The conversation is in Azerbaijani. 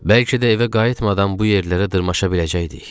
Bəlkə də evə qayıtmadan bu yerlərə dırmaşa biləcəkdik.